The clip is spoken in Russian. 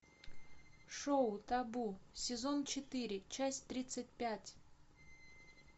шоу табу сезон четыре часть тридцать пять